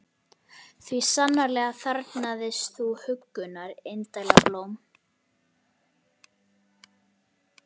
Því sannarlega þarfnaðist þú huggunar, indæla blóm.